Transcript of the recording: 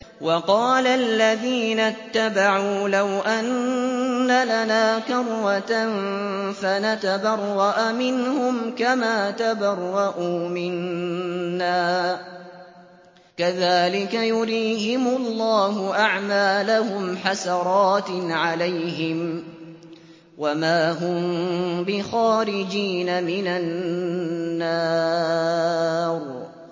وَقَالَ الَّذِينَ اتَّبَعُوا لَوْ أَنَّ لَنَا كَرَّةً فَنَتَبَرَّأَ مِنْهُمْ كَمَا تَبَرَّءُوا مِنَّا ۗ كَذَٰلِكَ يُرِيهِمُ اللَّهُ أَعْمَالَهُمْ حَسَرَاتٍ عَلَيْهِمْ ۖ وَمَا هُم بِخَارِجِينَ مِنَ النَّارِ